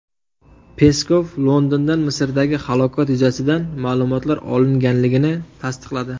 Peskov Londondan Misrdagi halokat yuzasidan ma’lumotlar olinganligini tasdiqladi.